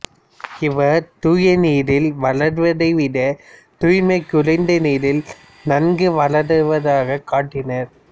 இவர் தூய நீரில் வளர்வதைவிட தூய்மை குறைந்த நீரில் நன்கு வளர்வதாகக் காட்டினார்